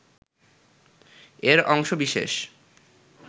এর অংশ বিশেষ